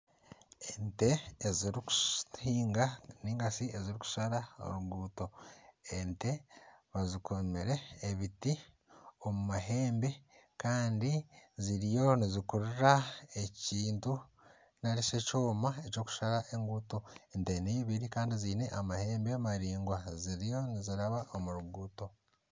Ente ezirikuhinga ningashi ezirikushara oruguuto ente bazikomire ebiti omu mahembe Kandi ziriyo nizikurura ekintu narishi ekyoma ekyokushara enguuto ente n'eibiri Kandi ziine amahembe maraingwa ziriyo niziraba omu ruguuto.